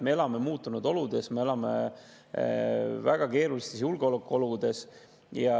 Me elame muutunud oludes, me elame väga keerulistes julgeolekuoludes.